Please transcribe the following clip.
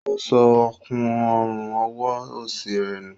O sọ òkun Ọrùn ọwọ́ osi rẹ nù